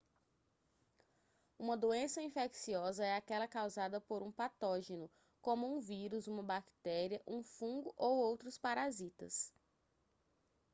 uma doença infecciosa é aquela causada por um patógeno como um vírus uma bactéria um fungo ou outros parasitas